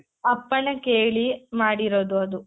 ಅಪ್ಪಣೆ ಕೇಳಿ ಮಾಡಿರೋದು ಅದು